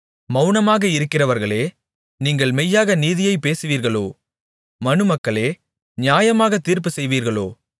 மவுனமாக இருக்கிறவர்களே நீங்கள் மெய்யாக நீதியைப் பேசுவீர்களோ மனுமக்களே நியாயமாகத் தீர்ப்பு செய்வீர்களோ